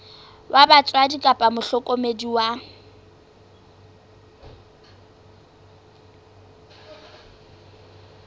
wa batswadi kapa mohlokomedi wa